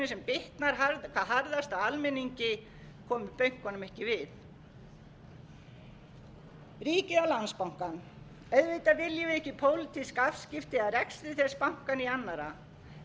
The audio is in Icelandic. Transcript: bitnar hvað harðast á almenningi komi bönkunum ekki við ríkið á landsbankann auðvitað viljum við ekki pólitísk afskipti af rekstri þess banka né